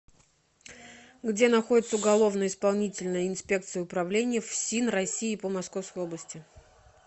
где находится уголовно исполнительная инспекция управления фсин россии по московской области